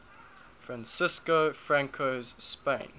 francisco franco's spain